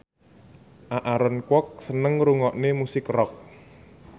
Aaron Kwok seneng ngrungokne musik rock